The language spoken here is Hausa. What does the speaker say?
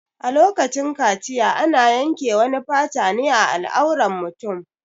A lokacin kaciya ana yanke wani fata ne a al'auran mutum